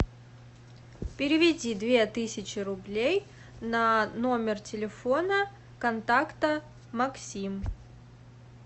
переведи две тысячи рублей на номер телефона контакта максим